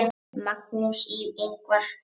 Magnús Ingvar.